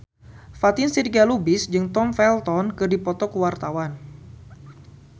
Fatin Shidqia Lubis jeung Tom Felton keur dipoto ku wartawan